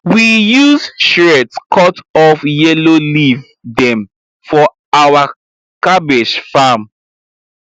we use shears cut off yellow leaf dem for our cabbage farm